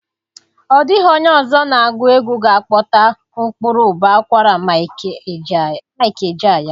Ọ dịghị onye ọzọ na-agụ egwu ga akpọta ụkpụrụ ụbọ akwara Mike Ejeagha.